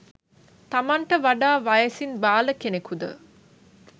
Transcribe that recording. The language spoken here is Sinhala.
තමන්ට වඩා වයසින් බාල කෙනෙකුද